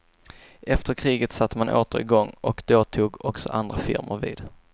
Efter kriget satte man åter i gång och då tog också andra firmor vid.